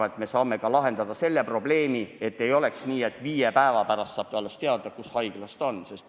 Küllap me saame ka lahendada selle probleemi, et ei oleks nii, et keegi saab alles viie päeva pärast teada, kus haiglas ta lähedane on.